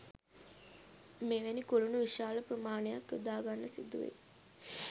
මෙවැනි කුළුණු විශාල ප්‍රමාණයක් යොදාගන්න සිදුවෙයි